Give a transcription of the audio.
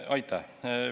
Aitäh!